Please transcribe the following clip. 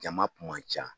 Jama kun man ca